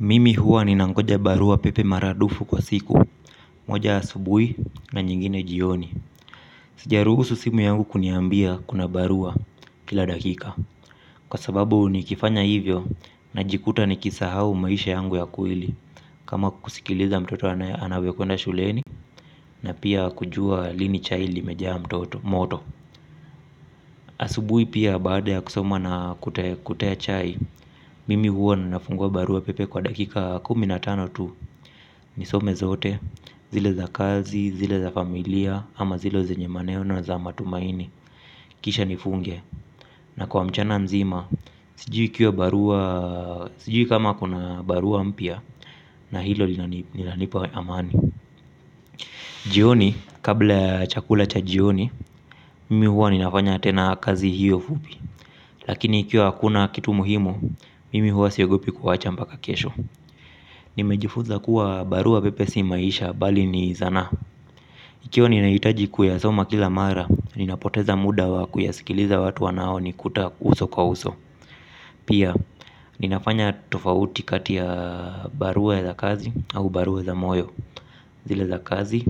Mimi huwa ninangoja barua pepe maradufu kwa siku moja asubui na nyingine jioni. Sijaruhusu simu yangu kuniambia kuna barua kila dakika. Kwa sababu nikifanya hivyo najikuta nikisahau maisha yangu ya kweli. Kama kusikiliza mtoto anavyokwenda shuleni na pia kujua lini chai limejaa mtoto moto. Asubui pia baada ya kusoma na kutaya chai. Mimi huwa na nafungua barua pepe kwa dakika kumi na tano tu nisome zote. Zile za kazi, zile za familia ama zile zenye maneno na za matumaini kisha nifunge. Na kwa mchana nzima sijui kama kuna barua mpya. Na hilo linanipa amani. Jioni, kabla ya chakula cha jioni mimi huwa ninafanya tena kazi hiyo fupi lakini ikiwa hakuna kitu muhimu mimi huwa siogopi kuacha mpaka kesho. Nimejifunza kuwa barua pepe si maisha. Bali ni sanaa. Ikiwa ninahitaji kuyasoma kila mara, ninapoteza muda wa kuyasikiliza watu wanaonikuta uso kwa uso. Pia, ninafanya tofauti kati ya barua za kazi au barua za moyo. Zile za kazi,